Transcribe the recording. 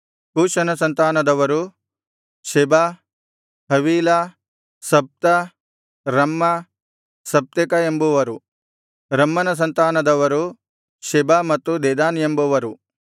ಕೂಷನ ಸಂತಾನದವರು Seba Havilah Sabtah Raamah Sabteca ಎಂಬುವರು ರಮ್ಮನ ಸಂತಾನದವರು ಶೆಬ ಮತ್ತು ದೆದಾನ್ ಎಂಬವರು